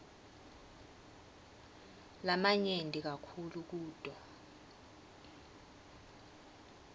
lamanyenti kakhulu kuto